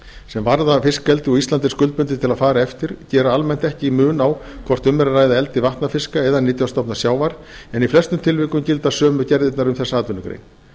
sem varða fiskeldi og ísland er skuldbundið til að fara eftir gera almennt ekki mun á hvort um er að ræða eldi vatnafiska eða nytjastofna sjávar en í flestum tilvikum gilda sömu gerðirnar um þessa atvinnugrein